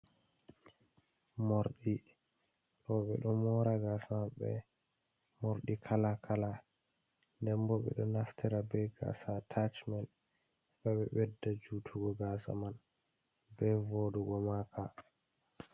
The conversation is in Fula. Morɗi roɓe ɗo mora gas mabɓe morɗi kala kala, ndenbo ɓeɗo naftira be gasa atachimen heɓa ɓe bedda jutugo gasa man be voɗugo maka.